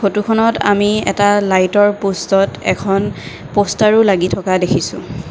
ফটোখনত আমি এটা লাইটৰ প'ষ্টত এখন প'ষ্টাৰো লাগি থকা দেখিছোঁ।